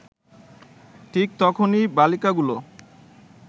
ঠিক তখনই বালিকাগুলো